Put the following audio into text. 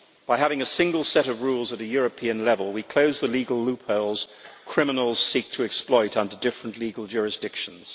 By having a single set of rules at a European level we close the legal loopholes criminals seek to exploit under different legal jurisdictions.